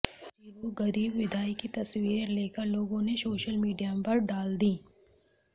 इस अजीबो गरीब विदाई की तस्वीरें लेकर लोगों ने सोशल मीडिया पर डाल दी